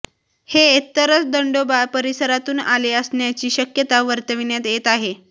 हे तरस दंडोबा परिसरातून आले असण्याची शक्यता वर्तविण्यात येत आहे